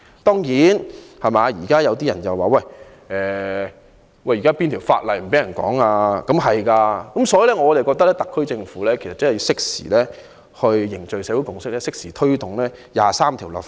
當然，有些人說現時沒有法例禁止人討論"港獨"，所以我覺得特區政府要適時凝聚社會共識，推動就《基本法》第二十三條立法。